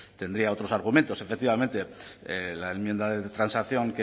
tendría otros argumentos efectivamente la enmienda de transacción